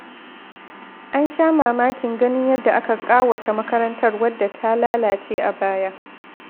An sha mamakin ganin yadda aka ƙawata makarantar wadda ta lalace a baya.